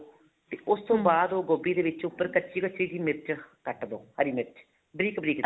ਤੇ ਉਸ ਤੋਂ ਬਾਅਦ ਉਹ ਗੋਭੀ ਦੇ ਵਿੱਚ ਉੱਪਰ ਕੱਚੀ ਕੱਚੀ ਜੀ ਮਿਰਚ ਕੱਟ ਦੋ ਹਰੀ ਮਿਰਚ ਬਰੀਕ ਬਰੀਕ ਜੀ